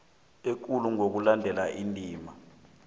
ekulu ngokulandela indima